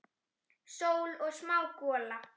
Sól og smá gola.